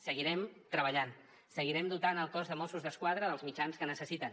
seguirem treballant seguirem dotant el cos de mossos d’esquadra dels mitjans que necessita